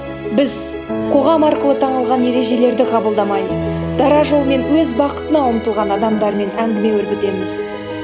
біз қоғам арқылы танылған ережелерді қабылдамай дара жолмен өз бақытына ұмтылған адамдармен әңгіме өрбітеміз